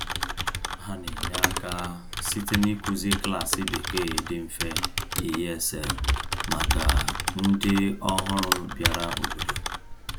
Ha na-enye aka site n’ịkụzi klaasị Bekee dị mfe (ESL) maka ndị ọhụrụ bịara obodo.